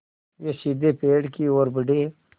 वे सीधे पेड़ की ओर बढ़े